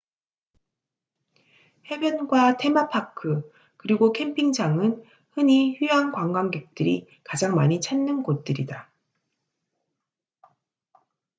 해변과 테마파크 그리고 캠핑장은 흔히 휴양 관광객들이 가장 많이 찾는 곳들이다